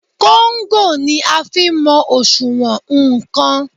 Kóńgò ni a fi ń mọ òṣùwọ̀n nnkan.